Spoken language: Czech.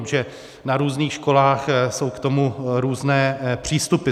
Protože na různých školách jsou k tomu různé přístupy.